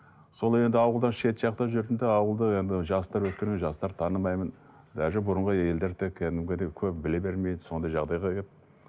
сол енді ауылдан шет жақта жүрдім де ауылды енді жастар өскенде жастарды танымаймын даже бұрынғы елдер тек кәдімгідей көп біле бермейді сондай жағдайға келіп